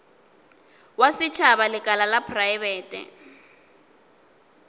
wa setšhaba lekala la praebete